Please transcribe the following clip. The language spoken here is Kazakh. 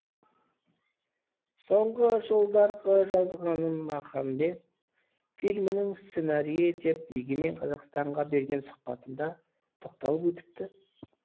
соңғы жылдарғы жазғаным махамбет фильмінің сценарийі деп егемен қазақстанға берген сұхбатында тоқталып өтіпті